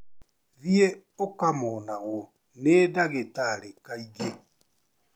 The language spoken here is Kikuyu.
Thiĩ ũkamonagwo nĩ ndagĩtarĩ kaingĩ.